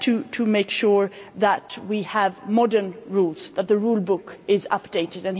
to make sure that we have modern rules, that the rule book is updated.